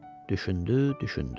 Düşündü, düşündü.